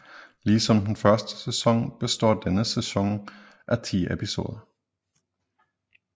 Ligesom den første sæson består denne sæson af ti episoder